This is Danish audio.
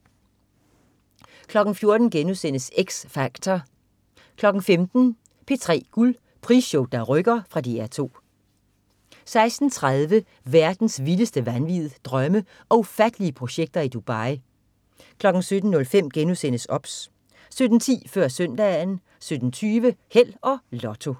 14.00 X Factor* 15.00 P3 Guld. Prisshow der rykker. Fra DR 2 16.30 Verdens vildeste vanvid. Drømme og ufattelige projekter i Dubai 17.05 OBS* 17.10 Før Søndagen 17.20 Held og Lotto